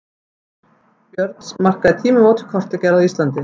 Kort Björns markaði tímamót í kortagerð á Íslandi.